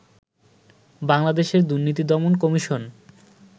বাংলাদেশের দুর্নীতি দমন কমিশন